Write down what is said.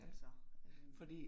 Altså øh